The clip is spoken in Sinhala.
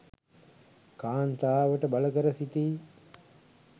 කාන්තාවට බලකර සිටී